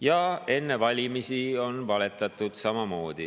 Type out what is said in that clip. Ja enne valimisi on valetatud samamoodi.